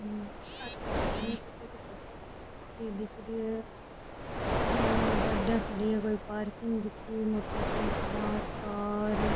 दिख रही है गाड़ियां खड़ी है कोई पार्किंग दिखी मोटरसाइकिल कार --